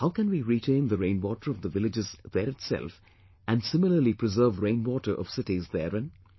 How can we retain the rainwater of the villages there itself and similarly preserve rainwater of cities therein